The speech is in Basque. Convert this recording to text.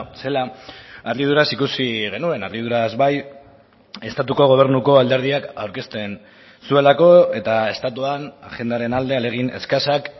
zela harriduraz ikusi genuen harriduraz bai estatuko gobernuko alderdiak aurkezten zuelako eta estatuan agendaren alde ahalegin eskasak